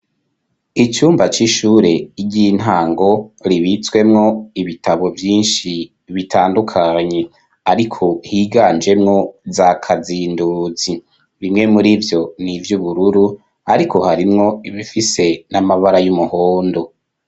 icumba c'ishure ry'intango ribitswemwo ibitabo vyinshi bitandukanye ariko higanjemwo zakazinduzi bimwe muri vyo nivy'ubururu ariko harimwo ibifise n'amabara y'umuhondo